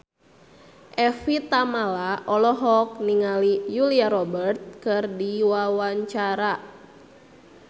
Evie Tamala olohok ningali Julia Robert keur diwawancara